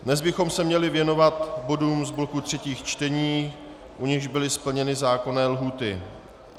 Dnes bychom se měli věnovat bodům z bloků třetích čtení, u nichž byly splněny zákonné lhůty.